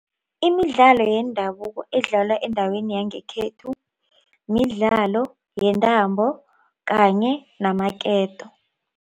Imidlalo yendabuko edlalwa endaweni yangekhethu midlalo yentambo kanye namaketo.